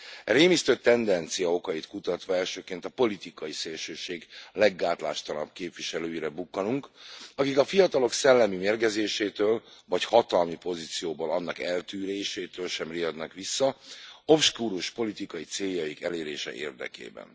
E rémisztő tendencia okait kutatva elsőként a politikai szélsőség leggátlástalanabb képviselőire bukkanunk, akik a fiatalok szellemi mérgezésétől, vagy hatalmi pozícióból annak eltűrésétől sem riadnak vissza, obskurus politika céljaik elérése érdekében.